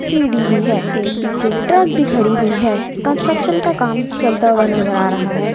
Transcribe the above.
सीढ़ी भी है एक पीछे एक ट्रक भी खड़ी हुई है कंस्ट्रक्शन का काम चलता हुआ नजर आ रहा है।